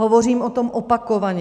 Hovořím o tom opakovaně.